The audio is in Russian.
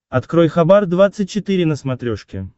открой хабар двадцать четыре на смотрешке